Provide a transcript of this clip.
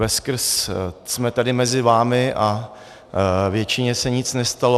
Veskrze jsme tady mezi vámi a většině se nic nestalo.